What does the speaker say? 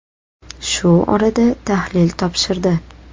Shu orada tahlil topshirdi.